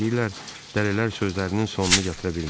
Deyirlər, Dəlilər sözlərinin sonunu gətirə bilmir.